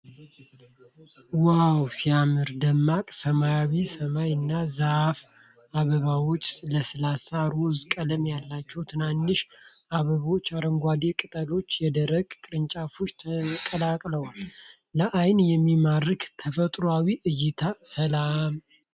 ዋው ሲያምር! ደማቅ ሰማያዊ ሰማይ እና የዛፍ አበባዎች። ለስላሳ ሮዝ ቀለም ያላቸው ትናንሽ አበቦች። አረንጓዴ ቅጠሎችና የደረቁ ቅርንጫፎች ተቀላቅለዋል። ለዓይን የሚያምር ተፈጥሮአዊ እይታ። ሰላም።